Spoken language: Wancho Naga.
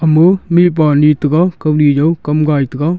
amu mih pa ni tega kawni jaw kam gai tega.